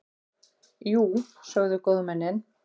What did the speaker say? Jú, sögðu góðmennin.